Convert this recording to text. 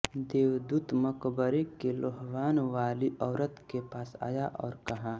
देवदूत मकबरे के लोहवानवाली औरत के पास आया और कहा